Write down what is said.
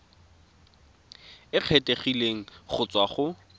e kgethegileng go tswa go